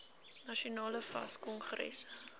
nasionale fas kongres